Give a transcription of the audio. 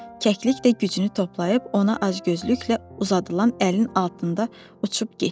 Kəklik də gücünü toplayıb ona acgözlüklə uzadılan əlin altından uçub getdi.